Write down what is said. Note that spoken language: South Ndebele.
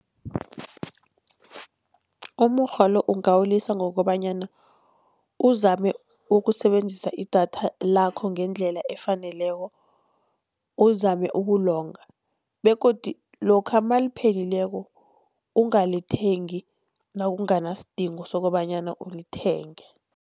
Umurhwa lo ungawulisa, ngokobanyana uzame ukusebenzisa idatha lakho ngendlela efaneleko, uzame ukulonga. Begodu lokha maliphelileko ungalithengi nakunganasidingo sokobanyana ulithenge.